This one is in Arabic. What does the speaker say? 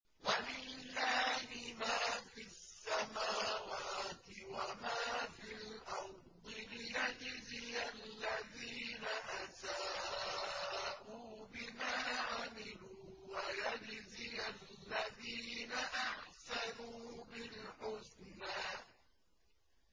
وَلِلَّهِ مَا فِي السَّمَاوَاتِ وَمَا فِي الْأَرْضِ لِيَجْزِيَ الَّذِينَ أَسَاءُوا بِمَا عَمِلُوا وَيَجْزِيَ الَّذِينَ أَحْسَنُوا بِالْحُسْنَى